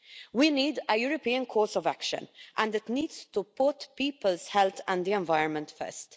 We need a European course of action, and it needs to put people's health and the environment first.